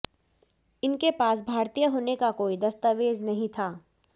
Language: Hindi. इनके पास भारतीय होने का कोई दस्तावेज नहीं था